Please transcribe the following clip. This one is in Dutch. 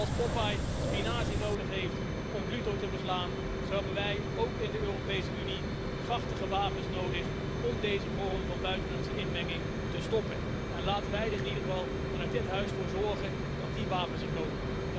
Zoals Popeye spinazie nodig heeft om Pluto te verslaan, zo hebben wij ook in de Europese Unie krachtige wapens nodig om deze vorm van buitenlandse inmenging te stoppen. Laten wij er in ieder geval vanuit dit huis voor zorgen dat die wapens er komen.